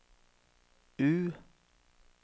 U